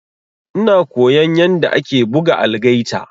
Ina koyan yanda ake buga algaita.